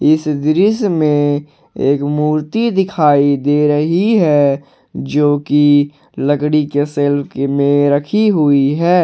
इस दृश्य में एक मूर्ति दिखाई दे रही है जो कि लकड़ी के सेल्फ के में रखी हुई है।